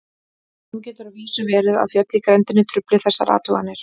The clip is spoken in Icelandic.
Nú getur að vísu verið að fjöll í grenndinni trufli þessar athuganir.